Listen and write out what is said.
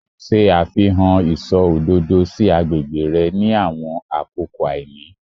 Ṣe àfihàn iṣọ òdodo si agbègbè rẹ ni àwọn àkókò àìní